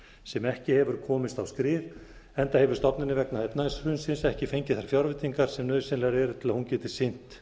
sem ekki hefur komist á skrið enda hefur stofnunin vegna efnahagshrunsins ekki fengið þær fjárveitingar sem nauðsynlegar eru til að hún geti sinnt